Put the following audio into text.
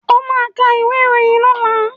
Ó ka ìwé ìròyìn lọ́la!